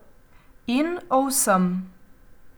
In o vsem.